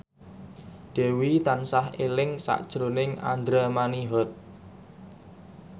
Dewi tansah eling sakjroning Andra Manihot